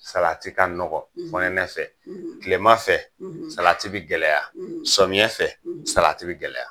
Salati ka nɔgɔ fɔnɛɛ fɛ, tilema fɛ salati bi gɛlɛya sɔmiɲɛ fɛ salati bi gɛlɛya.